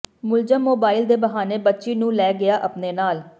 ਮੁਲਜ਼ਮ ਮੋਬਾਇਲ ਦੇ ਬਹਾਨੇ ਬੱਚੀ ਨੂੰ ਲੈ ਗਿਆ ਆਪਣੇ ਨਾਲ